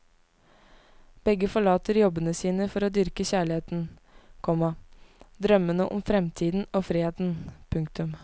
Begge forlater jobbene sine for å dyrke kjærligheten, komma drømmene om fremtiden og friheten. punktum